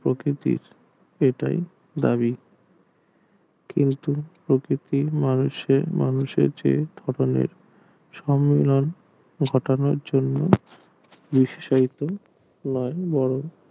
প্রকৃতির এটাই দাবি কিন্তু প্রকৃতির মানুষে মানুষে যে ধরণের সম্মেলন ঘটানোর জন্য নিশাসিত নয় বরং